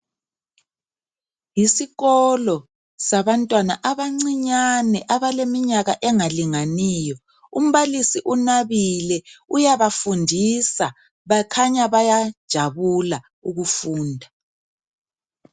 Yesikolo sabantwana abancinyane abaleminyaka engalinganiyo umbalisi unabile uyabafundisa bakhanya bayajabula ukufunda.